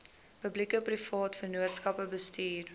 publiekeprivate vennootskappe bestuur